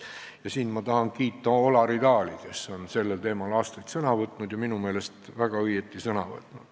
Ja siin ma tahan kiita Olari Taali, kes on sellel teemal aastaid sõna võtnud ja minu meelest väga õigesti.